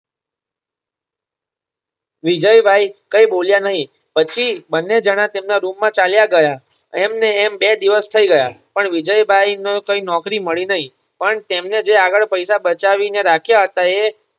વિજયભાઇ કઈ બોલ્યા નહીં પછી બંને જણા તેમના રૂમ માં ચાલ્યા ગયા એમને એમ બે દિવસ થઈ ગયા પણ વિજયભાઇ ને કઈ નોકરી મળી નહીં પણ તેમણે જે આગળ પૈસા બચાવી ને રાખ્યા હતા એ